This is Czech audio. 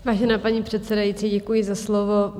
Vážená paní předsedající, děkuji za slovo.